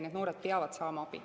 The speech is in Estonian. Need noored peavad saama abi.